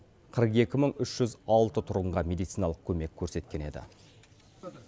қырық екі мың үш жүз алты тұрғынға медициналық көмек көрсеткен еді